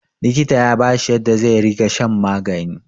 likita ya bashi yadda zai riga shan magani